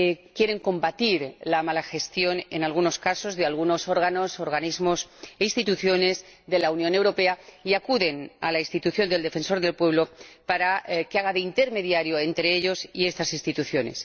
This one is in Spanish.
quieren combatir la mala gestión en algunos casos de algunos órganos, organismos e instituciones de la Unión Europea, y acuden a la institución del Defensor del Pueblo para que haga de intermediaria entre ellos y estas instituciones.